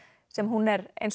sem hún er eins